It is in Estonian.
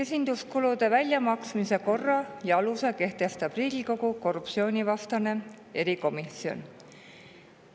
Esinduskulude väljamaksmise korra ja alused kehtestab Riigikogu korruptsioonivastane erikomisjon.